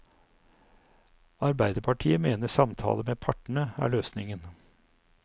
Arbeiderpartiet mener samtaler med partene er løsningen.